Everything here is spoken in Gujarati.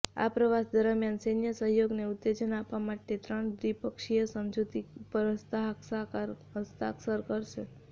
આ પ્રવાસ દરમિયાન સૈન્ય સહયોગને ઉત્તેજન આપવા માટે ત્રણ દ્વિપક્ષીય સમજૂતી ઉપર હસ્તાક્ષર કરાશે